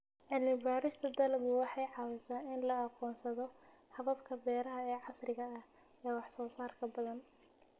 Cilmi-baarista dalaggu waxay caawisaa in la aqoonsado hababka beeraha ee casriga ah, ee wax soo saarka badan.